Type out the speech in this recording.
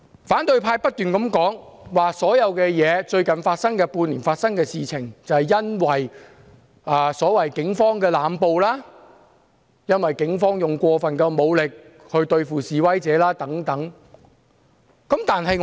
反對派不斷重申，最近半年發生的所有事情，都是因為所謂警方的濫捕、過分使用武力對付示威者等。